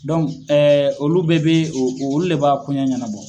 Dɔn olu bɛɛ bɛ o olu de b'a koɲɛ ɲanabɔ.